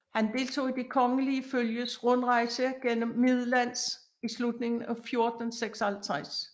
Han deltog i det kongelige følges rundrejse gennem Midlands i slutningen af 1456